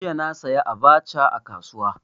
Jiya na saya abacha a kasuwa.